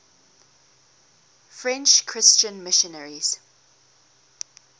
french christian missionaries